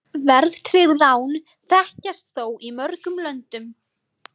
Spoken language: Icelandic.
Verðtryggð lán þekkjast þó í mörgum löndum.